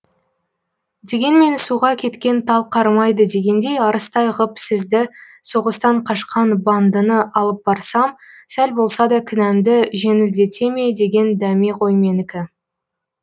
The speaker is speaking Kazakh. дегенмен суға кеткен тал қармайды дегендей арыстай ғып сізді соғыстан қашқан бандыны алып барсам сәл болса да кінәмді жеңілдете ме деген дәме ғой менікі